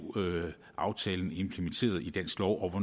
aftalen blev implementeret i dansk lov